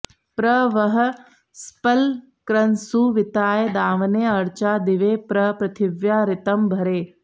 प्र वः स्पळक्रन्सुविताय दावनेऽर्चा दिवे प्र पृथिव्या ऋतं भरे